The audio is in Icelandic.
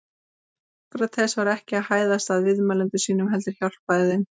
Sókrates var ekki að hæðast að viðmælendum sínum heldur hjálpa þeim.